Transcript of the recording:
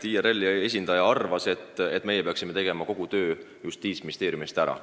IRL-i esindaja arvas, et meie peaksime tegema kogu selle töö Justiitsministeeriumi eest ära.